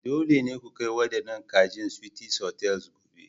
Dole ne ku kai waɗannan kajin Sweeties Hotels gobe!